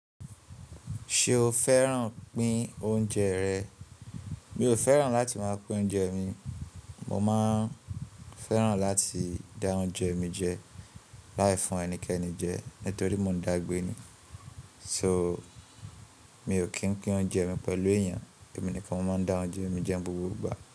Ṣé o fẹ́ràn pín oúnjẹ rẹ̀? Mi ò fẹ́ràn láti máa pín oúnjẹ mi. Mo máa ń fẹ́ràn láti dá oúnjẹ mi jẹ láì fún ẹnikẹni jẹ nítorí mo dàgbé ni. So mi ò kí ń pín oúnjẹ mi pẹ̀lú èèyàn, èmi nìkan mo máa ń dá oúnjẹ mi jẹ ni gbogbo ìgbà.